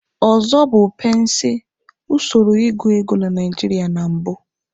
Ọzọ bụ pensi, usoro ịgụ ego na Naijiria na mbụ.